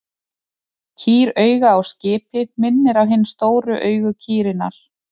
Kýrauga á skipi minnir á hin stóru augu kýrinnar.